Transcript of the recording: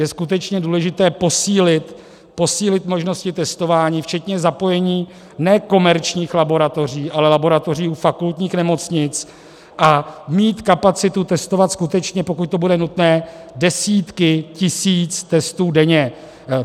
Je skutečně důležité posílit možnosti testování včetně zapojení ne komerčních laboratoří, ale laboratoří u fakultních nemocnic a mít kapacitu testovat skutečně, pokud to bude nutné, desítky tisíc testů denně.